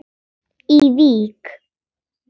í Vík.